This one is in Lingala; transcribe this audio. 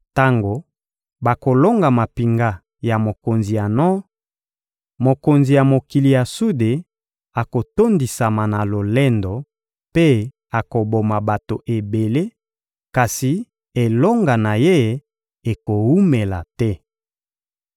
Tango bakolonga mampinga ya mokonzi ya nor, mokonzi ya mokili ya sude akotondisama na lolendo mpe akoboma bato ebele, kasi elonga na ye ekowumela te.